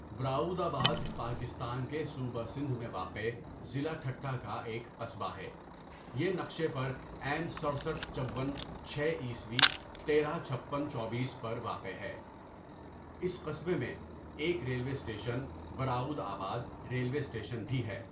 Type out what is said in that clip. براؤد آباد پاکستان کے صوبہ سندھ میں واقع ضؒلع ٹھٹہ کا ایک قصبہ ہے یہ نقشہ پر این سٹرسٹھ چون چھ عی تیرہ چھپن چوبیس پر واقع ہے اس قصبے میں ایک railway station Baraudabad railway station بھی ہے.